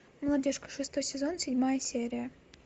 молодежка шестой сезон седьмая серия